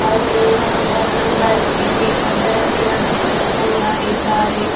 ಅಲ್ಲಿಯೂ ಒಂದು ಬಸ್ ಇದೆ ಅದರಲ್ಲಿ ಮನುಷ್ಯರು ಕೂಡ ಇದ್ದಾರೆ.